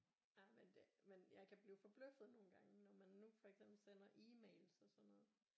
Jamen det men jeg kan blive forbløffet nogle gange når man nu for eksempel sender emails og sådan noget